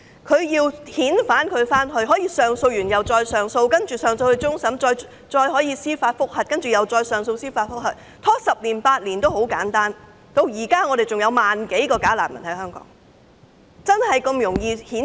如要遣返他，他可以不斷提出上訴，甚至上訴至終審法院，他也可以申請司法覆核，然後就司法覆核案提出上訴，拖延十年八年，至今仍有萬多名假難民在香港。